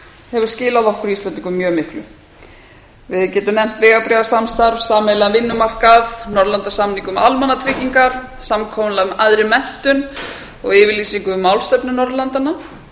hefur skilað okkur íslendingum mjög miklu við getum jafnt vegabréfasamstarf sameiginlegan vinnumarkað norðurlandasamning um almannatryggingar samkomulag um æðri menntun og yfirlýsingu um málstefnu norðurlandanna